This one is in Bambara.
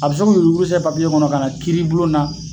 A bɛ se k'o yuguru yurugu sɛbɛn kɔnɔ ka na kiiri bulon na